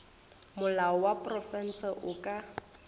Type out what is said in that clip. molao wa profense o ka